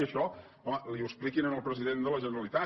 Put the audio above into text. i això home li ho expliquin al president de la generalitat